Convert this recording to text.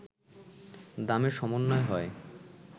দামে সমন্বয় হয়